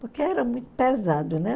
Porque era muito pesado, né?